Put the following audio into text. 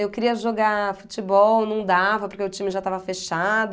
Eu queria jogar futebol, não dava porque o time já estava fechado.